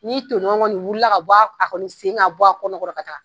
N'i tɔɲɔgɔn kɔni wulila ka bɔ, a kɔni sen ka bɔ a kɔnɔkɔrɔ ka taa